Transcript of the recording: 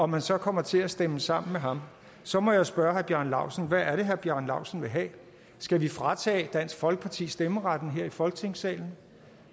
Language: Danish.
man så kommer til at stemme sammen med ham så må jeg spørge herre bjarne laustsen hvad er det herre bjarne laustsen vil have skal vi fratage dansk folkeparti stemmeretten her i folketingssalen